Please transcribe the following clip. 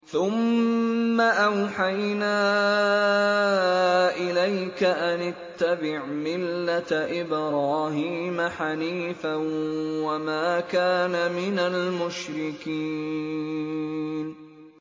ثُمَّ أَوْحَيْنَا إِلَيْكَ أَنِ اتَّبِعْ مِلَّةَ إِبْرَاهِيمَ حَنِيفًا ۖ وَمَا كَانَ مِنَ الْمُشْرِكِينَ